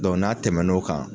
n'a tɛmɛ n'o kan